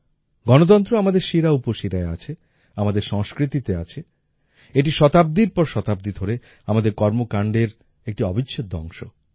গণতন্ত্র আমাদের শিরাউপশিরায় আছে আমাদের সংস্কৃতিতে আছে এটি শতাব্দীর পর শতাব্দী ধরে আমাদের কর্মকান্ডের একটি অবিচ্ছেদ্য অংশ